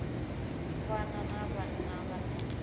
u fana na vhana vhane